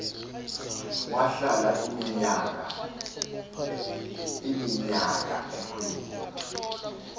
wahlala iminyaka kweli